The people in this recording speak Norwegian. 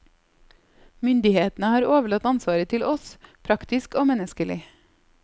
Myndighetene har overlatt ansvaret til oss, praktisk og menneskelig.